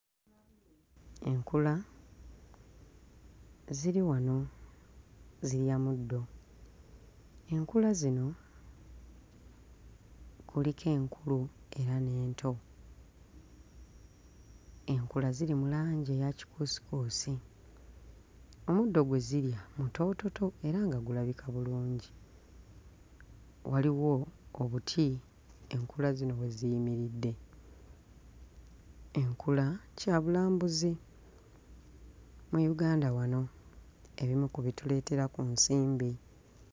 Enkula ziri wano zirya muddo. Enkula zino kuliko enkulu wamu n'ento. Enkula ziri mu langi eya kikuusikuusi, omuddo gwe zirya mutoototo era nga gulabika bulungi. Waliwo obuti enkula zino we ziyimiridde. Enkula kyabulambuzi mu Uganda wano ebimu ku bituleetera ku nsimbi.